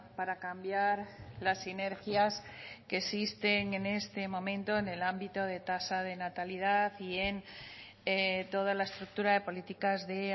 para cambiar las sinergias que existen en este momento en el ámbito de tasa de natalidad y en toda la estructura de políticas de